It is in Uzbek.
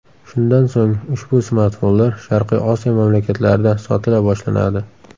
Shundan so‘ng, ushbu smartfonlar Sharqiy Osiyo mamlakatlarida sotila boshlanadi.